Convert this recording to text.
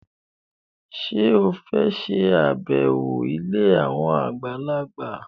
Ṣé o fẹ́ ṣàbẹ̀wọ̀ ilé àwọn àgbàlagbà?